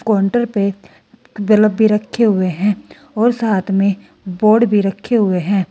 Counter पे bulb भी रखे हुए हैं और साथ में बोर्ड भी रखे हुए हैं।